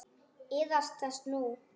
Iðrast þess nú.